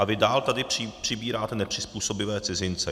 A vy dál tady přibíráte nepřizpůsobivé cizince.